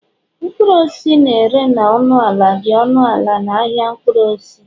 mkpụrụ osisi na-ere na ọnụ ala dị ọnụ ala na ahịa mkpụrụ osisi